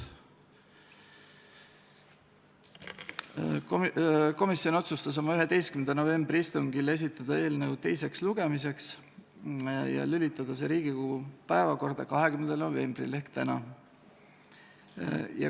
Komisjon otsustas oma 11. novembri istungil esitada eelnõu teiseks lugemiseks ja lülitada see Riigikogu päevakorda 20. novembril ehk täna.